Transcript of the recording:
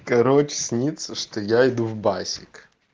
короче снится что я иду в басик